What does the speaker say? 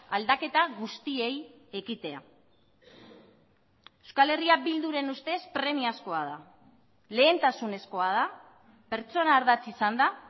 aldaketa guztiei ekitea euskal herria bilduren ustez premiazkoa da lehentasunezkoa da pertsona ardatz izanda